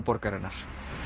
borgarinnar